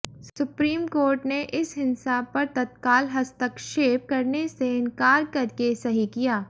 supreme court ने इस हिंसा पर तत्काल हस्तक्षेप करने से इनकार करके सही किया